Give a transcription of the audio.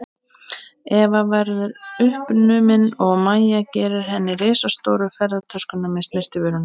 Eva verðu uppnumin og Mæja færir henni risastóru ferðatöskuna með snyrtivörunum.